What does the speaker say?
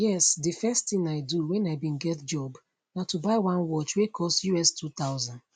yes di first tin i do when i bin get job na to buy one watch wey cost us2000